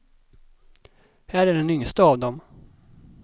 Här är den yngste av dem.